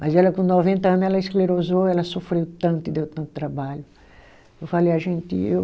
Mas ela com noventa ano, ela esclerosou, ela sofreu tanto e deu tanto trabalho. Eu falei a gente eu